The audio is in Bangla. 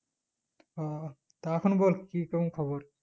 ও তা এখন বল কি কেমন খবর?